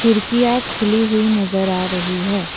खिड़किया खुली हुई नजर आ रही है।